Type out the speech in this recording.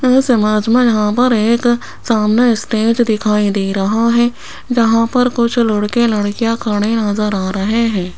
यहां पर एक सामने स्टेज दिखाई दे रहा है जहां पर कुछ लड़के लड़कीयाँ खड़े नजर आ रहे हैं।